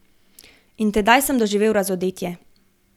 In tedaj sem doživel razodetje.